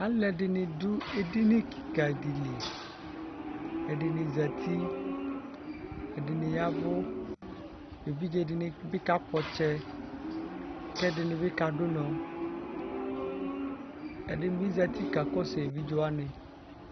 Alʋ ɛdini dʋ edini kikadi li ɛdini zati ɛdini ya ɛvʋ evidze dinibi kakpɔ ɔtsɛ kʋ ɛdinibi kadʋ ʋnɔ ɛdinibi zati kakɔsʋ evidze wani